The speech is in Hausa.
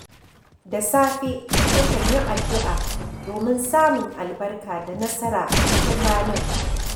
Da safe, nakan yi addu’a domin samun albarka da nasara a cikin ranar.